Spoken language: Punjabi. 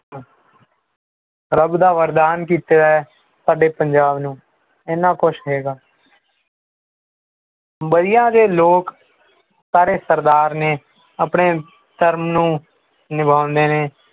ਰਬ ਦਾ ਵਰਦਾਨ ਕੀਤਾ ਹੈ ਸਾਡੇ ਪੰਜਾਬ ਨੂੰ ਇੰਨਾ ਕੁਛ ਹੈਗਾ ਵਧੀਆ ਜਿਹੇ ਲੋਕ ਸਾਰੇ ਸਰਦਾਰ ਨੇ ਆਪਣੇ ਸਿਰ ਨੂੰ ਨਿਭਾਉਂਦੇ ਨੇ